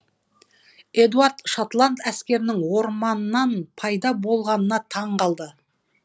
эдуард шотланд әскерінің орманнан пайда болғанына таң қалды